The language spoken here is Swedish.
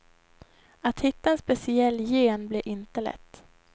Att hitta en speciell gen blir inte lätt.